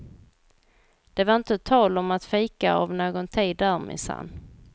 Det var inte tal om att fika av någon tid där, minsann.